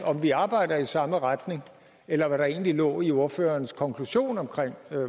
vi arbejder i samme retning eller hvad der egentlig lå i ordførerens konklusion på